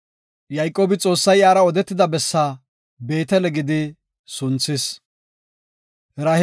Yayqoobi Xoossay iyara odetida bessa “Beetele” gidi sunthis.